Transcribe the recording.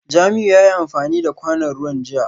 Jamiu yayi amfani da kwanon ruwan jiya